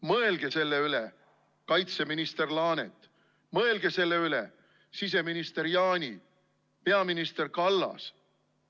Mõelge selle üle, kaitseminister Laanet, mõelge selle üle, siseminister Jaani, peaminister Kallas!